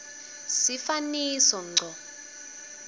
sifaniso ngco